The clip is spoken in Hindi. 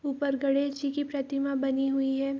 ऊपर गणेश जी की प्रतिमा बनी हुई है।